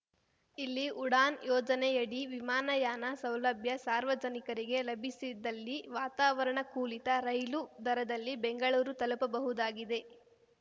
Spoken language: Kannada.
ಇಲ್ಲಿ ಉಡಾನ್‌ ಯೋಜನೆಯಡಿ ವಿಮಾನಯಾನ ಸೌಲಭ್ಯ ಸಾರ್ವಜನಿಕರಿಗೆ ಲಭಿಸಿದಲ್ಲಿ ವಾತಾವರಣಕೂಲಿತ ರೈಲು ದರದಲ್ಲಿ ಬೆಂಗಳೂರು ತಲುಪಬಹುದಾಗಿದೆ